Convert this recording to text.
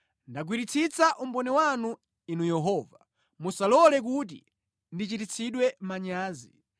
Ndagwiritsitsa umboni wanu, Inu Yehova; musalole kuti ndichititsidwe manyazi.